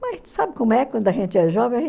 Mas tu sabe como é quando a gente é jovem?